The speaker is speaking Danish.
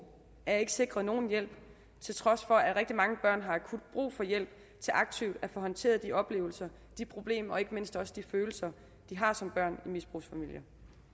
er ikke sikret nogen hjælp til trods for at rigtig mange børn har akut brug for hjælp til aktivt at få håndteret de oplevelser de problemer og ikke mindst også de følelser de har som børn i misbrugsfamilier